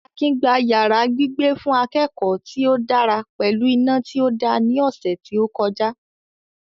Akin gba yàrá gbígbé fún akẹ́kọ̀ọ́ tí ó dára pẹ̀lú iná tí ó da ní ọ̀sẹ̀ tí ó kọjá